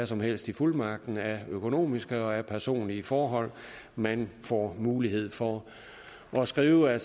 som helst i fuldmagten af økonomiske og personlige forhold man får mulighed for at skrive at